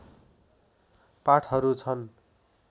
पाठहरू छन्